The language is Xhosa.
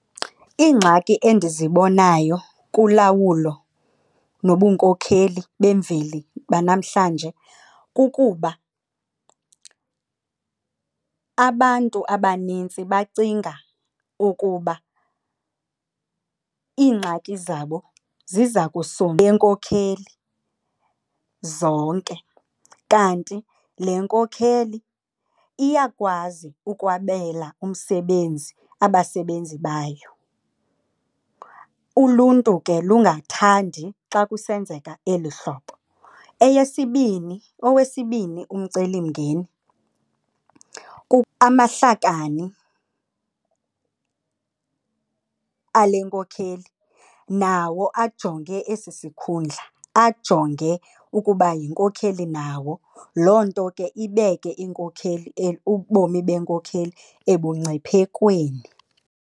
Iingxaki endizibonayo kulawulo nobunkokheli bemveli banamhlanje kukuba, abantu abanintsi bacinga ukuba iingxaki zabo ziza benkokheli zonke. Kanti le nkokheli iyakwazi ukwabela umsebenzi abasebenzi bayo. Uluntu ke lungathandi xa kusenzeka eli hlobo. Eyesibini, owesibini umcelimngeni amahlakani ale nkokheli nawo ajonge esi sikhundla ajonge ukuba yinkokheli nawo. Loo nto ke ibeke iinkokheli kubomi enkokheli ebungciphekweni.